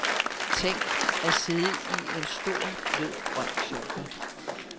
Tænk, at sidde i en stor blød grøn sofa.